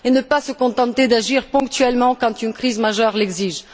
et ne pas se contenter d'agir ponctuellement quand une crise majeure l'exige.